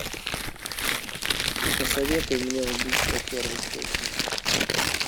посоветуй мне убийство первой степени